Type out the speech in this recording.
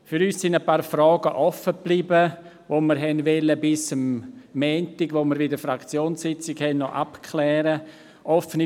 Für uns sind ein paar Fragen offen geblieben, die wir bis zu unserer Fraktionssitzung am Montag noch abklären wollten.